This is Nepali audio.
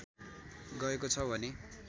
गएको छ भने